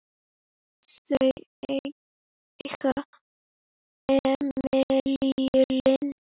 Þau eiga Emilíu Lind.